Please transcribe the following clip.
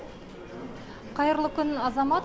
қайырлы күн азамат